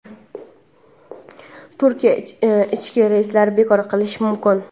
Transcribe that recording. Turkiya ichki reyslarni bekor qilishi mumkin.